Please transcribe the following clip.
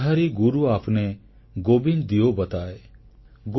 ବଲିହାରୀ ଗୁରୁ ଆପ୍ନେ ଗୋବିନ୍ଦ ଦିୟୋ ବତାୟ୍